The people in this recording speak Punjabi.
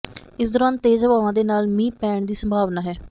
ਇਸ ਦੌਰਾਨ ਤੇਜ਼ ਹਵਾਵਾਂ ਦੇ ਨਾਲ ਮੀਂਹ ਪੈਣ ਦੀ ਸੰਭਾਵਨਾ ਹੈ